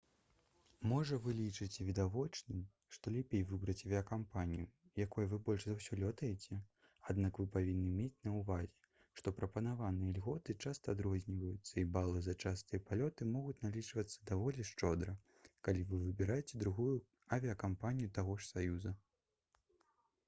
можа вы лічыце відавочным што лепей выбраць авіякампанію якой вы больш за ўсё лётаеце аднак вы павінны мець на ўвазе што прапанаваныя льготы часта адрозніваюцца і балы за частыя палёты могуць налічвацца даволі шчодра калі вы выбіраеце другую авіякампанію таго ж саюза